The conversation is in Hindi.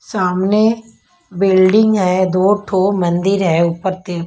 सामने बिल्डिंग है दो ठो मंदिर है ऊपर तीन --